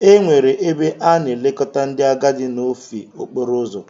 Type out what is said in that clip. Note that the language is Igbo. Ee, enwere ebe a na-elekọta ndị agadi n'ofe okporo ụzọ.